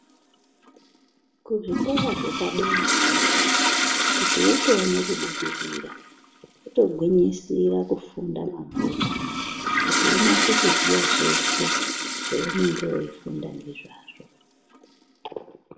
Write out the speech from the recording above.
Kuzvikora zvepaderayo kuti utoone kubudirira wotogwinyisira kufunda mabhuku kuti unase kuziya zveshe zvaunenge weifunda ngezvazvo.